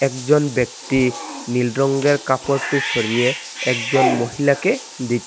একজন ব্যক্তি নীল রঙের কাপড়টি সরিয়ে একজন মহিলাকে দি--